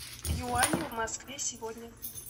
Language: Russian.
юани в москве сегодня